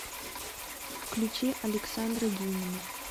включи александра дюмина